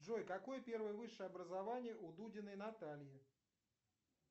джой какое первое высшее образование у дудиной натальи